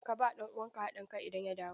Ka ba ɗan uwanka haɗin kai idan ya dawo!